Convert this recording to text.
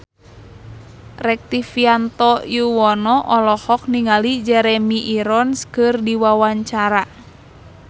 Rektivianto Yoewono olohok ningali Jeremy Irons keur diwawancara